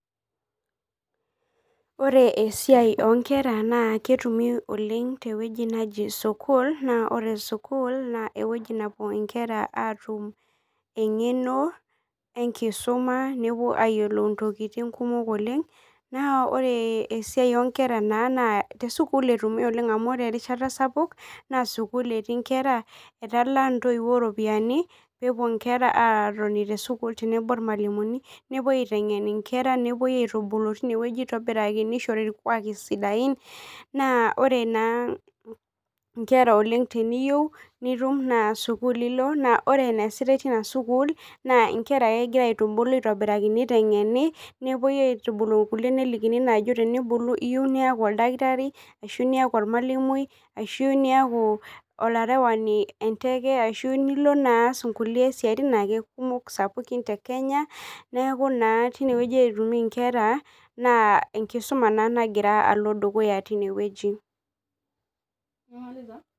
Ore esiai oonkera naa ketumoi oleng tewueji naji school ore school naa ewueji nepuo inkera aatum eng'eno enkisuma nepuo ayiolou intokitin kumok oleng naa ore esiau oonkera naa te school etumi oleng amu ore erishata sapuk naa school etii inkera etalaa intoiwuo iropiyiani peepuo inkera aatoni te school tenebo irmalimuni nepuoi aiteng'en inkera nepuoi aitubulu tine wueji aitobiraki neishori irkuaki sidain naa ore naa inkera oleng teniyieu nitum naa school ilo naa lre eneesitai tina school naa kegira aitubulu aitobiraki neiteng'eni nepuoi aitubulu kulie nelikini naa ajo tenibulu iyieu niaku oldakitari ashuu iyie niaku ormalimui ashuu iyieu niaku alarewani le nteke ashu iyieu nias inkulie siatin ake kumok sapukin te kenya neeku tine wueji etumi inkera naa enkisuma naa nagira alo dukuya tine wueji.